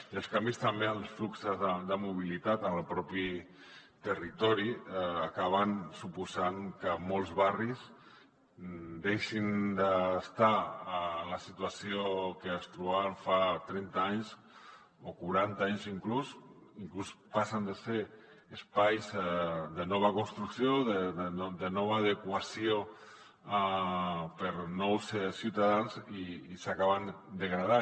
i els canvis també els fluxos de mobilitat en el propi territori acaben suposant que molts barris deixin d’estar en la situació que es trobaven fa trenta anys o quaranta anys inclús i inclús passen de ser espais de nova construcció de nova adequació per a nous ciutadans i s’acaben degradant